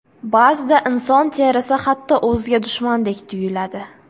Ba’zida inson terisi hatto o‘ziga dushmandek tuyuladi.